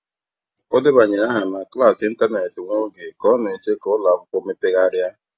Ọ debanyere aha na klaasị ịntanetị nwa oge ka ọ na-eche ka ụlọ akwụkwọ mepegharịa.